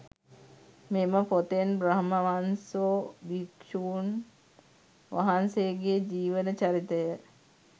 මෙම පොතෙන් බ්‍රහ්මවංසෝ භික්‍ෂූන් වහන්සේගේ ජීවන චරිතය